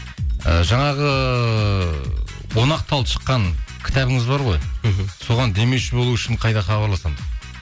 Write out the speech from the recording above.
і жаңағы он ақ тал шыққан кітабыңыз бар ғой мхм соған демеуші болу үшін қайда хабарласамыз